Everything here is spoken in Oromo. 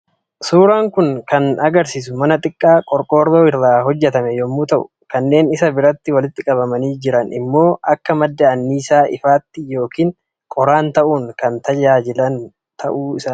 Suuraan kun kan argisiisu mana xiqqaa qorqoorroo irraa hojjetame yommuu ta'u kannen isa biratti walitti qabamanii jiran immoo akka madda anniisaa ifaatti yookaan qoraan ta'uun kan tajaajila kennuu danda’u dha.